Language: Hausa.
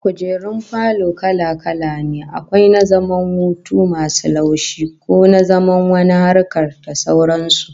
Kujerun falo kala-kala ne, akwai na zaman hutu masu taushi, ko na zaman wani harkar, da sauran su